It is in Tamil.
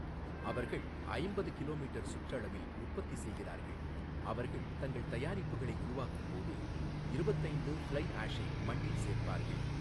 அவர்கள் ஐம்பது கிலோமீட்டர் சுற்றளவில் உற்பத்தி செய்கிறார்கள் அவர்கள் தங்கள் தயாரிப்புகளை உருவாக்கும் போது இருபத்து ஐந்து ஃப்ளை ஆஷை மண்ணில் சேர்ப்பார்கள்.